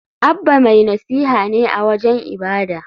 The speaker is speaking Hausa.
Abba mai nasiha ne a wajen ibada.